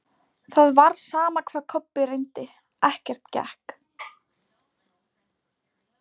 Það var sama hvað Kobbi reyndi, ekkert gekk.